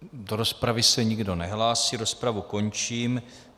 Do rozpravy se nikdo nehlásí, rozpravu končím.